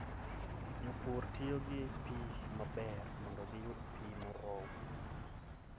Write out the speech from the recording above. Jopur tiyo gi pi maber mondo giyud pi moromo.